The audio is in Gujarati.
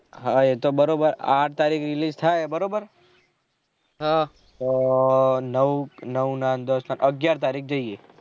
હા એ તો બારોબર આઠ તરીકે release થાય બરોબર તો નવ નવ ના દસ ને અગ્યાર તરીક જયીયે